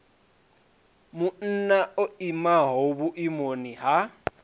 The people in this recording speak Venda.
munna o imaho vhuimoni ha